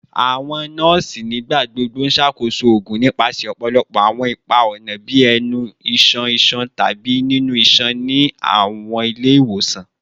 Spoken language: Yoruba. Awọn nọọsi nigbagbogbo n ṣakoso oogun nipasẹ ọpọlọpọ awọn ipa-ọna bii ẹnu, iṣan iṣan, tabi inu iṣan ni awọn ile-iwosan